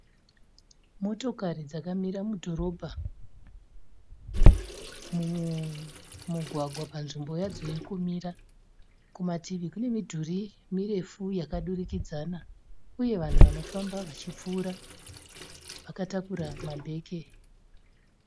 Motokari dzakamira mudhorobha mumugwagwa panzvimbo yadzo yokumira. Kumativi kune midhuri mirefu yakadurikidzana uye vanhu vanofamba vachipfuura vakatakura mabheke.